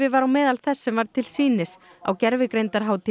var á meðal þess sem var til sýnis á